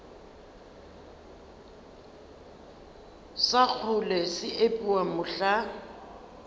sa kgole se epiwa mohla